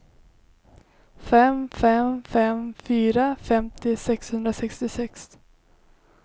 fem fem fem fyra femtio sexhundrasextiosex